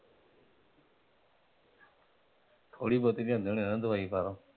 ਥੋੜੀ ਬਹੁਤੀ ਲੈਂਦੇ ਹੁਣੇ ਨਾ ਦਵਾਈ ਬਾਹਰੋਂ?